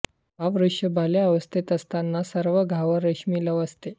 हा वृक्ष बाल्यावस्थेत असताना सर्वांगावर रेशमी लव असते